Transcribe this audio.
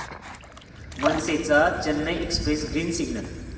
मनसेचा 'Chennai Express' green signal